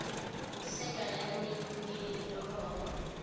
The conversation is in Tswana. di sa nyalaneleng le nomoro